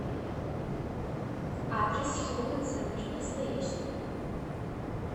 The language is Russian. адрес хендэ центр красноярск